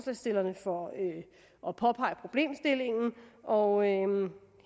at påpege problemstillingen og